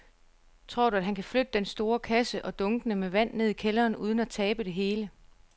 Tror du, at han kan flytte den store kasse og dunkene med vand ned i kælderen uden at tabe det hele?